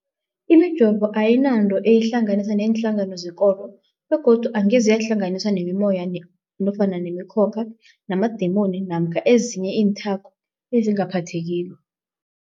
Imijovo ayinanto eyihlanganisa neenhlangano zekolo begodu angeze yahlanganiswa nemimoya, nemi khokha, namadimoni namkha ezinye iinthako ezingaphathekiko.